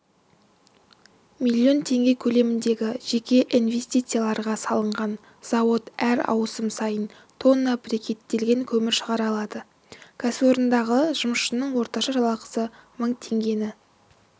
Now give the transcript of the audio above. миллион теңге көлеміндегі жеке инвестицияларға салынған зауыт әр ауысым сайын тонна брикеттелген көмір шығара алады кәсіпорындағы жұмысшының орташа жалақысы мың теңгені